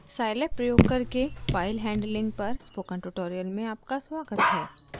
scilab प्रयोग करके file handling पर स्पोकन ट्यूटोरियल में आपका स्वागत है